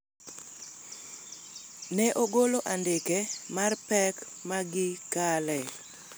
ne ogolo andike mar pek ma gikale